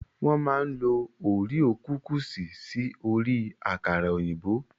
Wọ́n máa ń lo oríò kukùsì sí orí àkàrà òyìnbó.